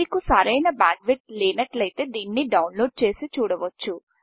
మీకు సరైన బ్యాండ్విడ్త్ లేనట్లయితే దానిని డౌన్లోడ్ చేసి చూడవచ్చు